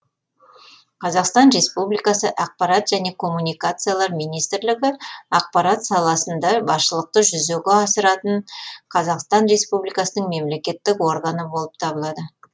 қазақстан республикасы ақпарат және коммуникациялар министрлігі ақпарат саласында басшылықты жүзеге асыратын қазақстан республикасының мемлекеттік органы болып табылады